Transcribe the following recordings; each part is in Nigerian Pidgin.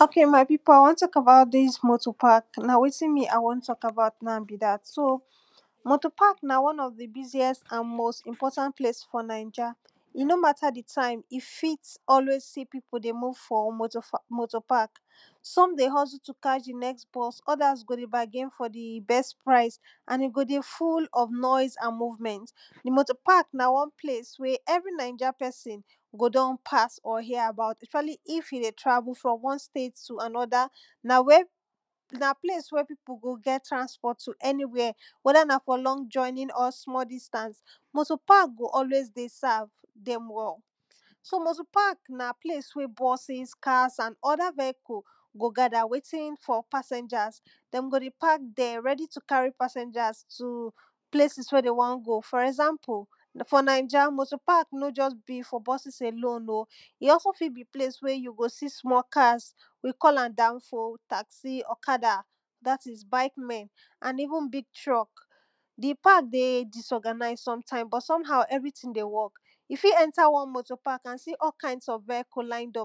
o?ke? ma? pi?pu? a? w??n t??k e?ba?u?t di?s mo?to? pa?k na? we?ti?n mi? a? w??n t??k a?ba?u?t bi? da?t mo?to? pa?k na? w??n ??f di? bi?si???s a?n mo?s i?np??ta?nt ple?i?? f?? na?i??a? no? ma?ta? di? ta?iju? fi?t ??we?i?s si? pi?pu? de? mu?v f?? mo?to? pa?k `s??m de? h??zu? tu? ka?? di? n??s b??s ??da?s go? de? ba?ge?i?n f?? di? b??s pra?i?s a?n i? go? de? fu?l ??f n??is a?n mu?vm??nt di? mo?to? pa?k na? ple?i?s we? ??vri? na?i??a? p??si?n go? d??n pa?s?? j?? a?ba?u?t ???a?li? i?f ju? de? pa?s fr??m w??n ple?i?s tu? a?n??da? na? ple?i?s wi??? pi?pu? go? g?? tra?sp??t tu? ??ni? wi??? w??da? na? l??ng di?sta?nt?? sm??l di?sta?ns mo?to? pa?k go? ??we?i?s sa?v d??m ??l So? mo?to? pa?k na? ple?i?s wi??? b??si?s ka?s a?n ??da? v??ku? gol ga?da? we?i?ti?n f?? pa?se?i??a? d??m go? de? pa?k d?? r??di? tu? ka?ri? pa?s??n?a?s tu? Ple?i?si?s we? de? w??n go? f?? ??za?mpu? f??na?i??a? mo?to? pa?k no? bi? ple?i?si? f?? b??s e?lo?u?n o? i? ??so? fi? bi? ple?i?s we? ju? go? si? sm?? ka?s wi? k??la?m da?nfo? ta?ksi? ??ka?da? da?ti?s bai?k a?n i?vu?n bi?g tr??k di? pa?k de? di?s??ga?na?i?s s??mta?i?m b?? s??m ha?u? ??vri?ti?n de? w??k Ju? fi? ??nta? mo?to? pa?k a?n si??? ka?i?ns ??f v??ku?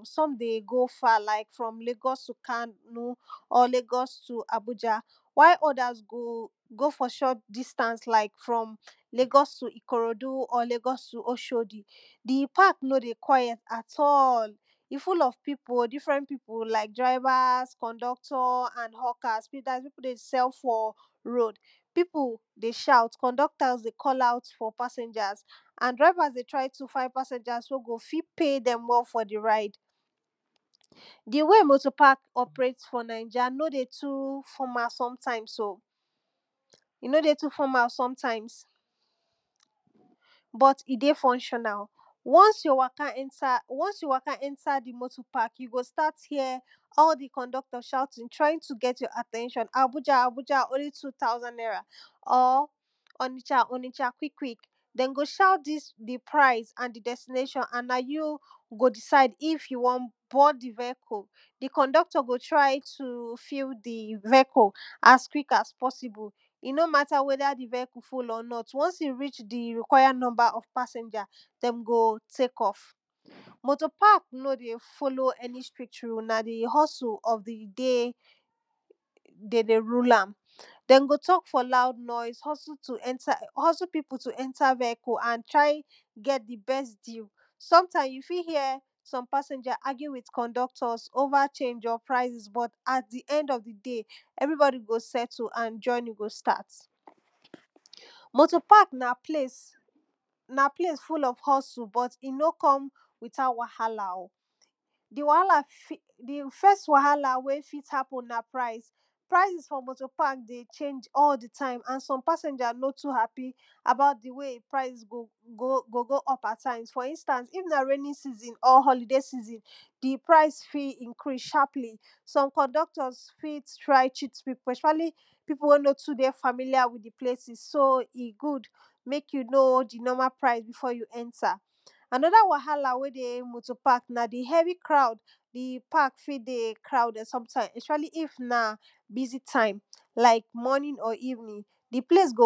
s?m de? go? fa? la?i?k fr??m le?g??s tu? ka?no? le?g??s tu? a?bu??a? wa?i?t ??da?s go? go? f?? ???t di?sta?ns la?i?k le?g??s tu? i?ko?ro?du??? le?g??s tu? o??o?di? di? pa?k fu?l??f pi?pu? di?fr??nt pi?pu? la?i?k dra?i?va?s k??nd??kt?? pi?pu? we? de? s?hu? f?? ro?u?d pi?u?s de? ?a?u? k??s??ta?nt de? k??la?u?t f?? pa?se?i??a?s de? tra?i? tu? fa?? pa?se?n?a?s we? go? fi? pe?i? f?? di? ra?i?d vdi? we? mo?to? pa?k de? f?? na?i??a? no? de? tu? f?ma? s??mta?i?ms b??t i? de? f??n???na? w??n ju? ??nta? di? mo?to? pa?k ju? go? si? se??? di? k??nd??kt?? ?a?u?ti?n tra?i?ji?n tu? g??t j?? a?t??n???n a?bu??a? o?nli? tu? ta?u?s??n n??ra? ??ni??a? kwi?kwi?k d??m go? ?a?u?t fi?s wi?t pra?i?s a?n na? ju? go? di?sa?i?d i?f ju? go? b??d di? v??ku? di? k??nd??kt?? go? tra?i? tu? fu? di? v??ku? a?s kwi?k a?s p??si?bu? i? no? ma?ta? we?da? di? v??ku? fu? l?? n??t w??n i? ri?? di? ri?kwa?ja? n??mba? de? go? te?k??f mo?to? pa?k no? de? fo?lo?u? stri?t ru?s na? di? h??su? ??f di? de? de? de? ru?la?m d??m go? t??k f?? la?u?d n??i?s h??zu? pi?pu? ??nta? di? mo?to? s??mta?i?m ju? fi? j?? s??m pa?se?i??a? go? de? a?gi?u? o?va? pra?i?si?s a? d? ??nd??f di? de? ??vri?b??di? go? s??tu? a?n ???ni? go? sta?t mo?tol pa?k na? ple?i?s fu???f h??zu? b??t i? no? k??m wi?ta?u? wa?ha?la? o? di? f??st wa?ha?la? we? fi?t ha?pu?n na? pra?i?s we? de? ?e?i???? di? ta?i?m a?n pa?se?i??a?sno? tu? ha?pi? de? go? ??p a?ta?i?ms f?? i?nst?ns i?f na? re??ni?n si?zi? dra?i? si?zi?n pra?i?s fi?t i?nkri?s s??m k??nd??kt??s fi?t i?nkri?s pra?i?s s??m pi?pu? we? no? tu? de? fa?mi?li?a? wi?t di? ple?i?si?s so? i? gu?d me?k ju? no??? di? pra?i?si?s bi?f?? ju? ??nta? a?n??da? w?ha?la? we dey moto park na di heavy croud di? pa?k fi? de? kra?u?d??d ??sp???a?li? f?? i?vni? di? ple?i?s go?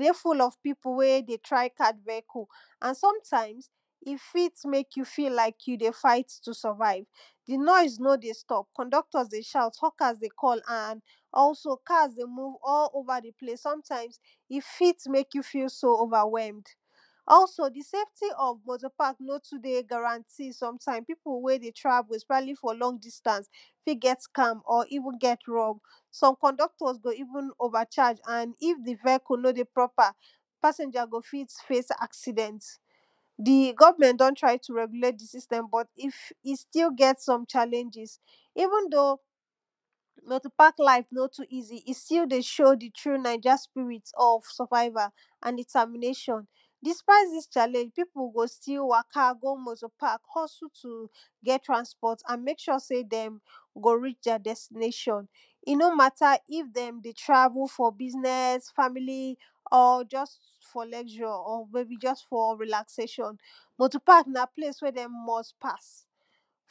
de? fu?l?? pi?pu? we? de? tra?i? b??d v??ku?di i? fi?t me?k ju? bi? la?i?k ju? de? fa?i?t tu? s??va?i?v di? n??i? noh de? st??p k??nd??kt?? de? ?a?u?t ??ka?s de? k??l i? fi?t me?k ju? fi?l so? o?va?w??md ??so? di? se?fti? ??f mo?to? pa?k no? tu? de? ga?ra?nti? pi?pu? we? de? tra?vu? ??sp??si?li? f?? l??ng di?sta?ns so?m k??nd??kt??s go? i?vu?n o?va??a?? a?n i?f di? v??ku? no? de? pr??pa? pa?se?n?a? go? fi?t fe?i?s a?si?d??nt di? g??vm??nt d??n tra?i? tu? r??gu?le?t di? si?sr??m b??t i? sti? g??t s??m ?a?le?i??i? i?vu?n do? mo?to? pa?k la?i?f no? i?zi? i? sti? de? ?o?u? di? na?i??a? la?i?f a?n di?ta?mi?ne????n d??pa?i?t di?s ?a?le?i?? pi?pu? go? sti? go? m?to? a?k go? h??zu? fo? mo?to? yu? me?k??? se? d?? go? ri?? di?a? d??sti?ne????n i? no? ma?ta? i?f d??m de? tra?vu? f?? bi?s??s fa?mi?li??? fo? l????? me?bi? j??s f?? ri?la?ze????n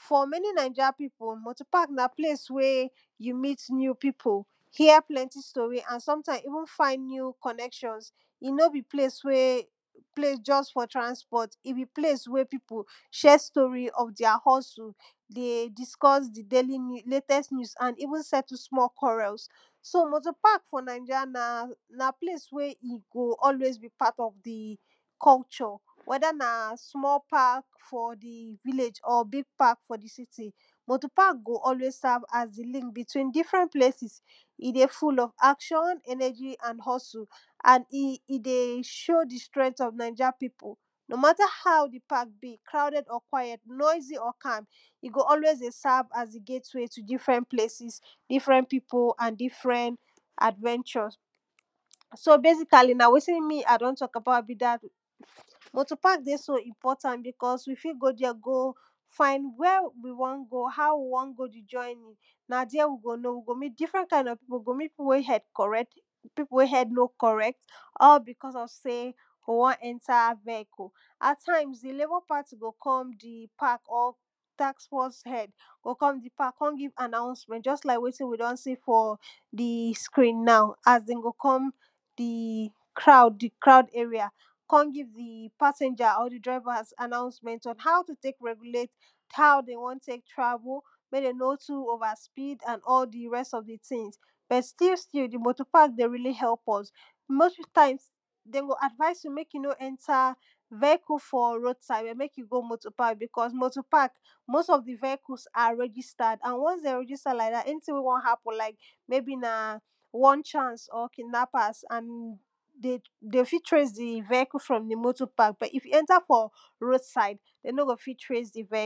f?? m??ni? na?i??a? pi?pu? mo?to? pak na? ple?i?s wi??? ju? mi?t ni?u? pi?pu? a?n s??ta?i?ms i?nu?n fa?i?n ni?u? k??n??k???ns i? no? bi? ple?i?s j??s f?? tra?sp??t i? bi? plei?s w?? pi?pu???? di? h??zu? de? di?sk??s di? le?t??s ni?u?s a?n i?vu?n s?htu? sm?? kw??r??s mo?to? pa?k f?? na?i??a? na? ple?i?s we? i? go? ??we?i?s bi? pa?t ??f di? k??u???? w??da? na? sm?? pa?k f?? di? vi?le?i?????? bi?g pa?k f?? di? si?ti? mo?to? pa go? ??we?i?s sa?v a?s di? li?nk bi?twi?n di?fr??nt plesi?si? k??u???? w??da? na? sm?? pa?k f?? di? vi?le?i?????? bi?g pa?k f?? di? si?ti? mo?to? pa go? ??we?i?s sa?v a?s di? li?nk bi?twi?n di?fr??nt plesi?si? i? de? fu?l?? a?k???n a?n ??n???i? a?n i? de? ?o? di? str??t ??f na?i??a? pi?pu? no? ma?ta? a?u? di? pa?k bi? kra?u?d??d?? kwa?j??t n??i?zi??? ka?m i? go? ??we?i?s de? sa?v a?s di? ge?i?t we? tu? di?fr??nt ple?si?s di?fr??n pi?pu? a?n di?fr??n a?dv??n??? so? be??ka?li? na? we?ti?n mi? a? de? t??k a?ba?u?t mo?to? pa?k de? so? i?mp??talnt bi?k??s wi? fi? go? fa?i?n wi??? wi? w??n go? ha?u? wi? w??n go? di? ???ni? na? di??? wi? go? no? wi? go? mi?t di?fr??nt ka?i?n ??f pi?pu? we? di?a? h??d k??r??t pi?pu? we? di?a? h??d no? k??r??t ??l bi?k??s ??f se? de? wo?n ??nta? mo?to? a?ta?i?ms di? le?b?? pa?ti? go? k??m di? pa?k?? ta?sf??s h??d go? k??m di? pa?k k??m gi?v a?na?u?sm??nt ???s la?i?k wi? d??n i? f?? di? skri?n na?u? a?s d??m go? k??m di? kra?u?d e?ri?a? k??m gi?v di? pa?se?i??a??? di? dra?i?va? ??n ha?u? tu? te?k r??gu?le?t ha?u? de? w??n te?k tra?vu? me? de? n??tu? o?va? spi?d b??t sti?u? sti? di? mo?to? pa?k de? ri?li? h??u?p??s mo?s ta?i?ms d??m go? a?dva?i?s ju? me?k ju? no? ??nta? v??i?ku? f?? ro?u?d sa?i?d me?k ju? ??nta? fr??m pa?k mo?s ??h di? v??ku? a? r??gi?sta?d a?n w?hn de? r??gi?sta? ??ni?ti?n we? wo?n ha?pu?n la?i?k w??n ?a?ns?? ki?dna?pa?s de? f? tre?i?s di? v?ku? fr??m di? mo?to? pa?k i?f ju? ??nta? fr??m ro?u?d sa?i?d de? no? go? fi? tre?i?s di? v??ku? ok ma pipu a won talk about dis dis motor park. na wetin me a wo talk about be dat motor pak na one of di busiest and most importand place for naija and e no mata di time, e fit always dey see pipu dey waka some dey hustle to catvh di next bus bargin for di best price and e go dey full of noise and movement. di motor pak na one place we pesn go don pas or hear about especially if you dey travel from one state to anoda na wen na place where pipu go get transport to anywhere weda na for long journey or small distance, moto park go always serve dem all so moto park na place wey buses, cars and other vehicle go gather waiting for pasangers, dem go park there ready to carry passangers to places where de won go for example for nainja, motor park dey for buses alon oh e also fit be place where you go see small cars we all am danfo, taxi, okada dat is bike and even big truck. di park dey disorganize sometimes but somehkow everything dey work. you fit enter all moto park and see all kinds of vehicle lined up some dey go far like from lagos to kano, or lagos to abuja. while others go go for short distance like lagos to ikorodu or lagos to oshodi. di park no dey?? at all. e full of pipu like drivers, onductor nd hawkers dat is pipu wey dey sell for road. pipu dey shout, conductor dey call out for passanger and drivers dey find passangers ey go fit pay dem well for di ride. di way motor pack operate for ninga no dey too formal sometmes but e dey functional. onces you waka nter di motor prk, you go stat hear all di conductor shouting trying to get your at ten tion abuja abuja or onisha onisha quick quick. den go shout dis di price and di destination and na you go s]decide if you won board di vehicle. di conductor go try to fill di bus as quick as possible. e no mata weda di vehicle full or not, wons e reach di require number of passanger, dem go take off. motor park no dey folow any stricj rule na di hustle of di day de dey rule am. den go talk for loud voice, hustle pipu to enter di vehicle and try get di best deal. sometimes, you ft hear some passanger argue with conductor over change or prices but at di end of di day, everybodi go settle and jpourney go start. motor pack na place full of hustle but e no come without wahala o di wahala di first wahala wey fit happenna price. prices for motor park dey change all di time and some passanger no too happy about di way go go up at times for instance if na raining season or rain day season, di price fit increase sharply, some conductor fit try cheat pipu especially di park fit dey crouded sometime especially if na busy time like morning or evenin. di place go dey full of pipu wey dey try catch vehicle and some times, e fit mek you feel like you dey fight to survive. di noise no dey stop conductor dey shout, hawkers dey call and also cars dey move all over di place. sometimes e fit mek you feel overwhel,e. also di safty of no to dey guaranty sometime pipu wey dey travel especially fir long distance fit get scammed or even gat robbed soe conductors go even go even overcharge and if di veicle no dey proper, passangers go fit face acident. di government do try to reulate di system but e still get some challanges. even though moto park life no too easy,e still dey show di true nanja spirit of survival or determination. despite dis challanges, pipu go stll waka go park hustle t get transport and mek sure sey dem go reach their destination e no matter if dem dey travel for business, family or just for relaxation. motor park na place where dem must pas for many nainja pipu, motor park na place wey you meet new pipu, hear plenty story, and sometimes even find new connections. e no be place just for transport, e be place where pipu share stories of their hustle. de discuss di latest news a ns even settle small qwarells o motor park for nainja na plac wey e go always be park of di culture. weda na sm all park for di vilage or big park for di city, moto park go always serve as di link between two places. e dey full of action, energy and hustle and e dey show di action of nanija pipu. e go always dey serve as di gateway to diferent places, diferent pip and different adventure. so basically na wetin m a don talk be dat motor park dey so important because w fit go ther go find where we wn go and how we go tek go na there we go find different kinds of pipu. we go meet di one wey head correct pipu wey head no corrct all because of sey we won enta vehicle. atimes di labour party go come di park or taskforce head kon give announcement just like wetin we don see for di screen now as dem go come di crowd area kon give di passangers and di drivers on how to tek regulate, how de won tek travle mey de no too overspeed. but still still di motor park dey realy help us. most times den go advice you mek you no enter vehcle for road side make you go enter for motor park because motor park most of di vehivles are registerd and once dey deon register am like dat anything wey won happun na mybe na onechance or kidnappers dey fit trace di vehice from di motor park. but if you enter from road side, de no go fit trace d vehicle.